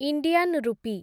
Indian ରୂପୀ